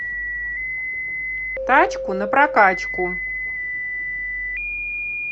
тачку на прокачку